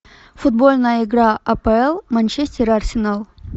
футбольная игра апл манчестер арсенал